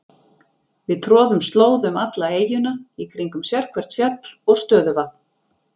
Við troðum slóða um alla eyjuna, í kringum sérhvert fjall og stöðuvatn.